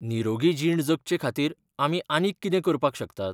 निरोगी जीण जगचेखातीर आमी आनीक कितें करपाक शकतात?